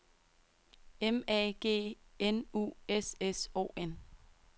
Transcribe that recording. M A G N U S S O N